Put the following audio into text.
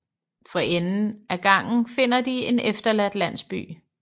For enden af gangen finder de en efterladt landsby